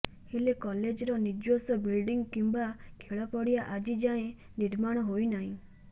ହେଲେ କଲେଜର ନିଜସ୍ବ ବିଲଡିଂ କିମ୍ବା ଖେଳପଡ଼ିଆ ଆଜି ଯାଏଁ ନିର୍ମାଣ ହୋଇନାହିଁ